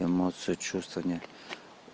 эмоции чувства